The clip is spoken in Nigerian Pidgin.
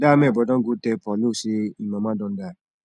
dat amebo don go tell paulo say im mama don die